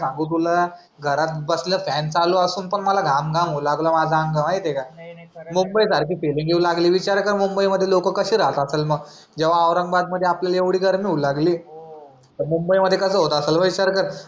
घरात बसल्या फॅन चालू असून पण मला घाम घाम होउ लागला माझं अंग माहिती ए का मुंबई सारखी फीलिंग येऊ लागलीये विचार कर मुंबईमध्ये विचार केर लोक कसे राहत असल मग जो औरंगाबाद मध्ये एवढी गर्मी होऊ लागली तर मुंबई मध्ये कास होत असेल याचा विचार कर